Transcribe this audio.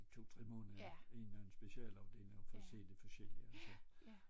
I 2 3 måneder en eller anden specialafdeling og få set det forskellige